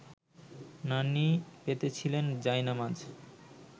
নানি পেতেছিলেন জায়নামাজ